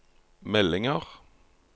meldinger